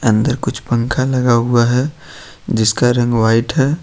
अंदर कुछ पंखा लगा हुआ है जिसका रंग व्हाइट है।